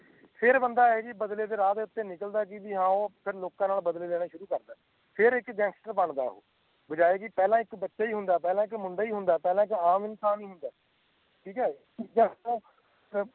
ਫੇਰ ਬੰਦਾ ਏ ਜੀ ਬਦਲੇ ਦੇ ਰਾਹ ਉਤੇ ਨਿਕਲਦਾ ਹੈ ਜੀ ਹੈ ਫੇਰ ਲੋਕਾਂ ਨਾਲ ਬਦਲੇ ਲੈਂਨੇ ਸ਼ੁਰੂ ਕਰਦਾ ਹੈ ਫੇਰ ਇੱਕ ਗੈਂਗਸਟਰ ਬਣਦਾ ਓਹੋ ਬਜਾਏ ਜੀ ਪਹਿਲਾ ਇੱਕ ਓ ਬੱਚਾ ਹੀ ਹੁੰਦਾ ਪਹਿਲਾ ਇੱਕ ਮੁੰਡਾ ਹੁੰਦਾ ਪਹਿਲਾ ਇੱਕ ਆਮ ਇਨਸਾਨ ਹੁੰਦਾ ਓ ਠੀਕ ਹੈ ਜਦੋ